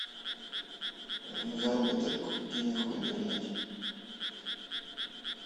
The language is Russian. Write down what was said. заработок денег в интернете